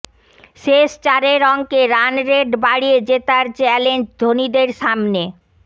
শেষ চারের অঙ্কে রানরেট বাড়িয়ে জেতার চ্যালেঞ্জ ধোনিদের সামনে